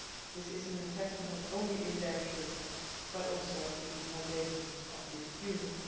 This is an investment not only in their future but also in the foundations of the Union.